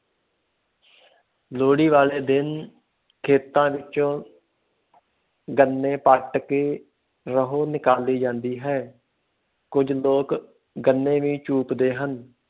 ਲੋਹੜੀ ਵਾਲੇ ਦਿਨ ਖੇਤਾਂ ਵਿੱਚੋਂ ਗੰਨੇ ਪੁੱਟ ਕੇ ਰੋਹ ਨਿਕਾਲੀ ਜਾਂਦੀ ਹੈ, ਕੁੱਝ ਲੋਕ ਗੰਨੇ ਵੀ ਚੂਪਦੇ ਹਨ